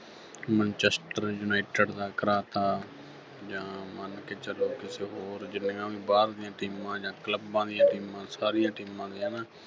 Manchester United ਦਾ ਕਰਾਤਾ ਜਾਂ ਮੰਨ ਕੇੇ ਚੱਲੋ ਕਿਸੇ ਹੋਰ ਜਿੰਨੀਆਂ ਵੀ ਬਾਹਰ ਦੀਆਂ teams ਜਾਂ clubs ਦੀਆਂ teams ਸਾਰੀਆਂ teams ਦੇ ਹੈ ਨਾ